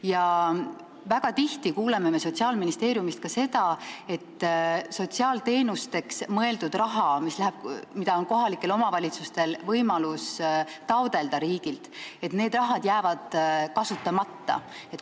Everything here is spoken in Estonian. Ja väga tihti me kuuleme Sotsiaalministeeriumist, et sotsiaalteenusteks mõeldud raha, mida kohalikud omavalitsused saaksid riigilt taotleda, jääb kasutamata.